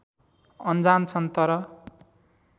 अनजान छन् तर